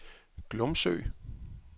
Glumsø